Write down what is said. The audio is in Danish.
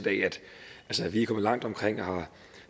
at vi er kommet langt omkring og har